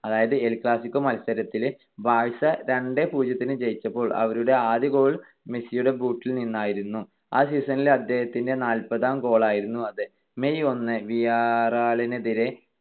അതായത് El Clasico മത്സരത്തിൽ Barca രണ്ട് - പൂജ്യം തിന് ജയിച്ചപ്പോൾ അവരുടെ ആദ്യ goal മെസ്സിയുടെ boot ൽ നിന്നായിരുന്നു. ആ season ലെ അദ്ദേഹത്തിന്റെ നാൽപതാം goal ആയിരുന്നു അത്. May ഒന്ന് വിയ്യാറയലിനെതിരെ